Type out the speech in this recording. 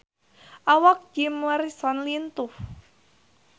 Awak Jim Morrison lintuh